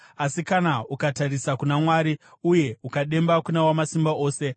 Asi kana ukatarisa kuna Mwari uye ukademba kuna Wamasimba Ose,